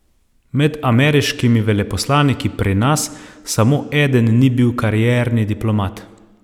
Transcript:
Med ameriškimi veleposlaniki pri nas samo eden ni bil karierni diplomat.